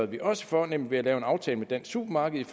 vi også for nemlig at lave en aftale med dansk supermarked